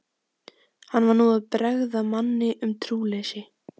Hann var nú að bregða manni um trúleysi.